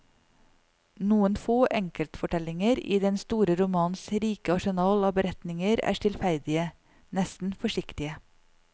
Noen få enkeltfortellinger i den store romans rike arsenal av beretninger er stillferdige, nesten forsiktige.